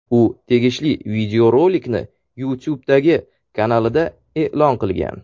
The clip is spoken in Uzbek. U tegishli videorolikni YouTube’dagi kanalida e’lon qilgan.